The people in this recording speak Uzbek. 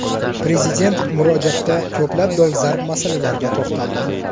Prezident murojaatda ko‘plab dolzarb masalalarga to‘xtaldi.